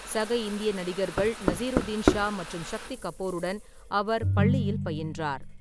சக இந்திய நடிகர்கள் நஸ்ருதீன் ஷா மற்றும் சக்தி கபூருடன் அவர் பள்ளியில் பயின்றார்.